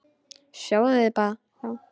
Sáuð þið þá?